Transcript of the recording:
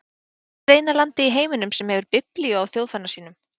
Hvert er eina landið í heiminum sem hefur biblíu á þjóðfána sínum?